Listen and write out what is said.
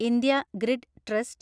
India grid trust